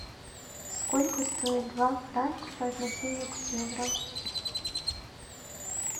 сколько стоит два франка по отношению к евро